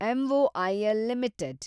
M O I L limited